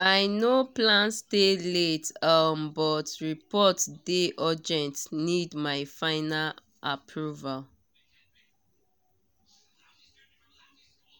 i no plan stay late um but report dey urgent need my final approval